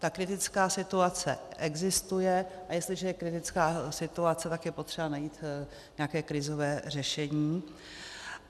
Ta kritická situace existuje, a jestliže je kritická situace, tak je potřeba najít nějaké krizové řešení.